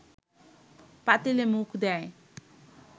পাতিলে মুখ দেয়